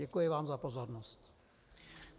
Děkuji vám za pozornost.